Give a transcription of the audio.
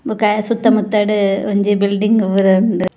ಬೊಕ ಆಯೆ ಸುತ್ತ ಮುತ್ತಡ್ ಒಂಜಿ ಬಿಲ್ಡಿಂಗ್ ಪೂರ ಉಂಡು.